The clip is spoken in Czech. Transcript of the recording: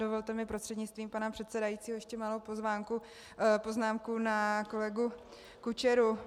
Dovolte mi prostřednictvím pana předsedajícího ještě malou poznámku na kolegu Kučeru.